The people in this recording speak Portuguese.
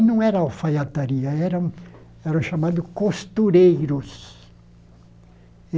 Aí não era alfaiataria, era o era o chamado costureiros.